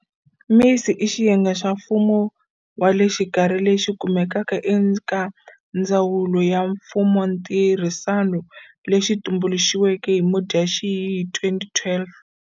MISA i xiyenge xa mfumo wa le xikarhi lexi kumekaka eka Ndzawulo ya Mfumontirhisano lexi xi tumbulixiweke hi Mudyaxihi 2012.